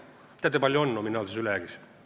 Kas teate, kui palju on nominaalset ülejääki?